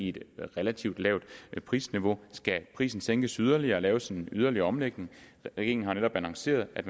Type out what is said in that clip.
et relativt lavt prisniveau skal prisen sænkes yderligere og laves en yderligere omlægning regeringen har netop annonceret at